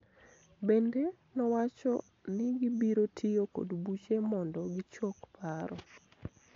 Bende, nowacho ni gibiro tiyo kod buche mondo gichok paro